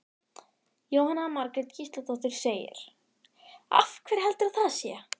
Jóhanna Margrét Gísladóttir: Af hverju heldurðu að það sé?